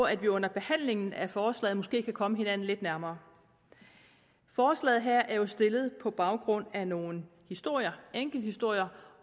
at vi under behandlingen af forslaget måske kan komme hinanden lidt nærmere forslaget her er jo stillet på baggrund af nogle historier enkelthistorier